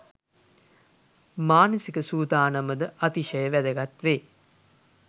මානසික සූදානම ද අතිශය වැදගත් වේ.